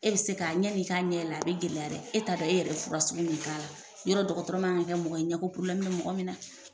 E bɛ se ka ani i k'a ɲɛ yɛlɛ, a bɛ gɛlɛya dɛ, e t'a dɔn e yɛrɛ bɛ fura sugu min k'a la , yɔrɔ dɔtɔrɔ man ka kɛ mɔgɔ ye, ɲɛko probilɛmu bɛ mɔgɔ min na dɛ.